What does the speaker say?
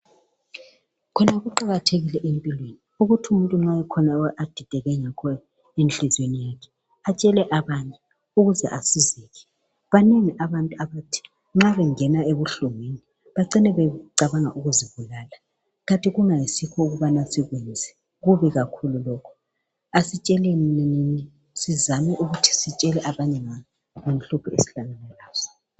Khona kuqathekile empilweni ukuthi umuntu makukhona adideke ngakho enhliziyweni yakhe atshele abanye ukuze asizeke banengi abantu abathi nxabengena enhlungwini bacine becabanga ukuzibulala kanti ke kungasikho okumele sikwenze, kubi kakhulu lokho asizame ukuthi q sitshele abantu ngenhlupho esilazo.